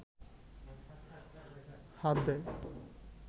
হাত দেয়